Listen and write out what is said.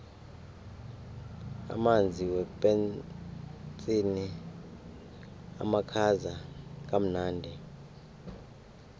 amanzi wepetsini amakhaza kamnandi